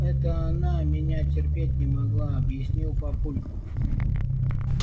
это она меня терпеть не могла объяснил папулька